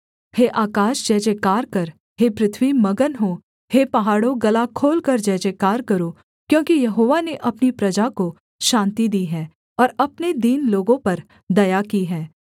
हे आकाश जयजयकार कर हे पृथ्वी मगन हो हे पहाड़ों गला खोलकर जयजयकार करो क्योंकि यहोवा ने अपनी प्रजा को शान्ति दी है और अपने दीन लोगों पर दया की है